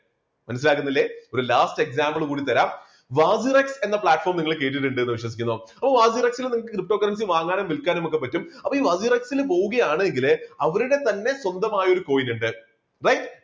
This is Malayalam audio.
മനസ്സിലാകുന്നില്ലേ ഒരു last example കൂടി തരാം എന്ന platform നിങ്ങൾ കേട്ടിട്ടുണ്ട് എന്ന് വിശ്വസിക്കുന്നു. ഓ നിങ്ങൾക്ക് ptocurrency വാങ്ങാനും വിൽക്കാനും ഒക്കെ പറ്റും അപ്പോൾ ഈ പോവുകയാണെങ്കിൽ അവരുടെ തന്നെ സ്വന്തമായ ഒരു coin ഉണ്ട് right